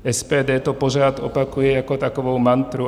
SPD to pořád opakuje jako takovou mantru.